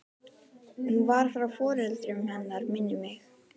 Hún var frá foreldrum hennar minnir mig.